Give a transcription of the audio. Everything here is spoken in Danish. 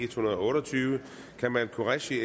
hundrede og otte og tyve kamal qureshi